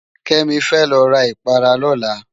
Kemi fè lo rá ipárá lòlá